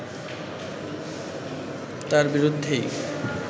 তার বিরুদ্ধেই